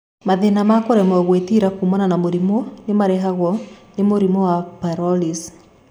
Mathĩna ma kũremo kwĩgitĩra kumana na mũrimũ nĩ marehaga mũrimũ wa psoariasis.